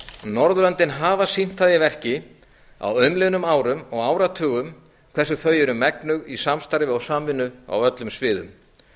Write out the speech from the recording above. norðurlöndin hafa sýnt það í verki á umliðnum árum og áratugum hversu þau eru megnug í samstarfi og samvinnu á öllum sviðum